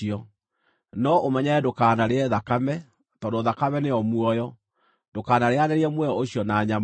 No ũmenyerere ndũkanarĩe thakame, tondũ thakame nĩyo muoyo, ndũkanarĩanĩrie muoyo ũcio na nyama.